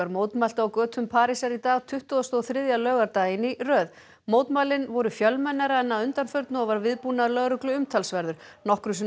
mótmæltu á götum Parísar í dag tuttugasta og þriðja laugardaginn í röð mótmælin voru fjölmennari en að undanförnu og var viðbúnaður lögreglu umtalsverður nokkrum sinnum